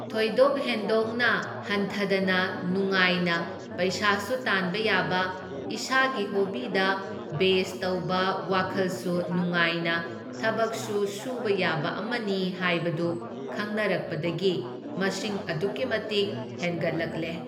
ꯊꯣꯏꯗꯣꯛ ꯍꯦꯟꯗꯣꯛꯅ ꯍꯟꯊꯗꯅ ꯅꯨꯉꯥꯏꯅ ꯄꯩꯁꯥꯁꯨ ꯇꯥꯟꯕ ꯌꯥꯕ, ꯏꯁꯥꯒꯤ ꯍꯣꯕꯤꯗ ꯕꯦꯖ ꯇꯧꯕ ꯋꯥꯈꯜꯁꯨ ꯅꯨꯉꯥꯏꯅ ꯊꯕꯛꯁꯨ ꯁꯨꯕ ꯌꯥꯕ ꯑꯃꯅꯤ ꯍꯥꯏꯕꯗꯨ ꯈꯪꯅꯔꯛꯄꯗꯒꯤ ꯃꯁꯤꯡ ꯑꯗꯨꯛꯀꯤ ꯃꯇꯤꯛ ꯍꯦꯟꯒꯠꯂꯛꯂꯦ꯫